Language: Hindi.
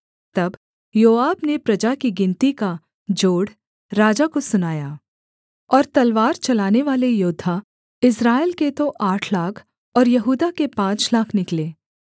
तब योआब ने प्रजा की गिनती का जोड़ राजा को सुनाया और तलवार चलानेवाले योद्धा इस्राएल के तो आठ लाख और यहूदा के पाँच लाख निकले